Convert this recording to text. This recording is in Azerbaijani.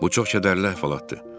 Bu çox kədərli əhvalatdır.